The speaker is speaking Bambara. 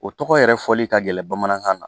O tɔgɔ yɛrɛ fɔli ka gɛlɛn bamanankan na